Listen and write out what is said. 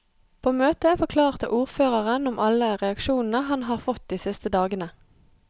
På møtet forklarte ordføreren om alle reaksjonene han har fått de siste dagene.